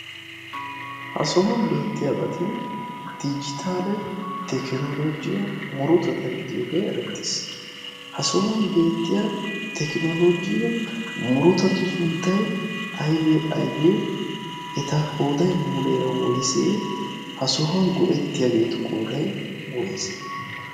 ha sohuwan beettiyaabati dijitaale tekinolojiyaa murotata gidiyoogee erettees. ha sohuwan beettiya tekinologiya murutatu sunttai aibe aibee eta qodai muleera woysee? ha sohuwan go'ettiyaageetu qoodai woysee?